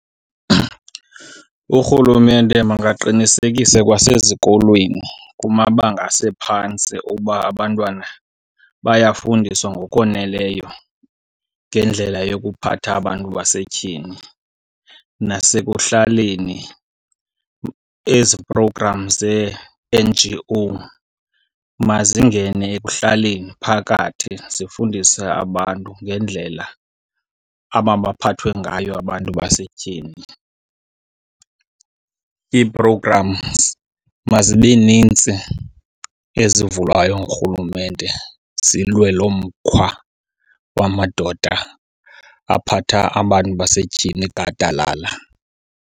Urhulumente makaqinisekise kwasezikolweni kumabanga asephantsi uba abantwana bayafundiswa ngokoneleyo ngendlela yokuphatha abantu basetyhini. Nasekuhlaleni, ezi program zee-N_G_O mazingene ekuhlaleni, phakathi zifundise abantu ngendlela amabaphathwe ngayo abantu basetyhini. Ii-programs mazibe nintsi ezivulwayo ngurhulumente zilwe lo mkhwa wamadoda aphatha abantu basetyhini gadalala.